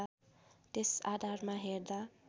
त्यस आधारमा हेर्दा